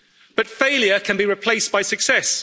But failure can be replaced by success.